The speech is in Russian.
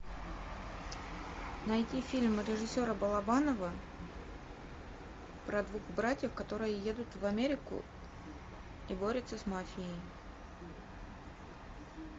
найти фильм режиссера балабанова про двух братьев которые едут в америку и борются с мафией